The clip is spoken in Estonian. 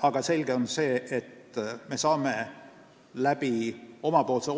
Aga selge on, et me saame omapoolse